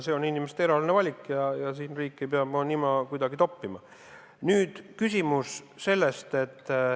See on inimeste eraeluline valik ja riik ei pea oma nina kuidagi sinna toppima.